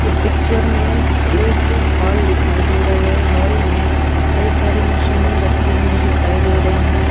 इस पिक्चर में एक हॉल दिखाई दे रहा है हॉल में कई सारी मशीने रखी हुई दिखाई दे रही हैं।